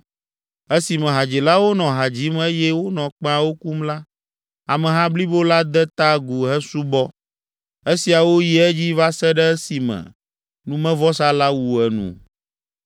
Esime hadzilawo nɔ ha dzim eye wonɔ kpẽawo kum la, ameha blibo la de ta agu hesubɔ. Esiawo yi edzi va se ɖe esime numevɔsa la wu enu.